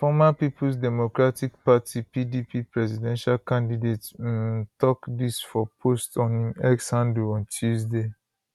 di former peoples democratic party pdp presidential candidate um tok dis for post on im x handle on tuesday